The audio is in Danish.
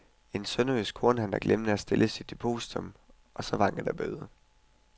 En sønderjysk kornhandler glemte at stille depositium og så vankede der bøde.